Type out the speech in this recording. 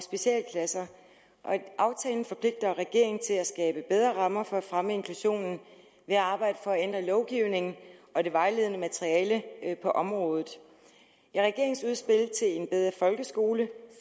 specialklasser aftalen forpligter regeringen til at skabe bedre rammer for at fremme inklusionen ved at arbejde for at ændre lovgivningen og det vejledende materiale på området i regeringens udspil til en bedre folkeskole